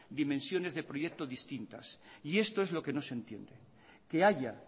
dimensiones de proyectos distintas y esto es lo que no se entiende que haya